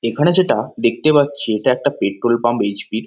এখানে যেটা দেখতে পাচ্ছি এটা একটা পেট্রোল পাম্প এইচ.পি. ।